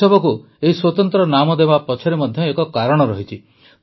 ଉତ୍ସବକୁ ଏହି ସ୍ୱତନ୍ତ୍ର ନାମ ଦେବା ପଛରେ ମଧ୍ୟ ଏକ କାରଣ ରହିଛି